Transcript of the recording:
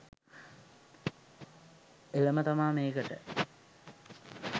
එළම තමා මේකට